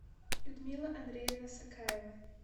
людмила андреевна сакаева